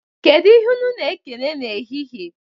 Kedụ ihe unu na-ekene n'ehihie?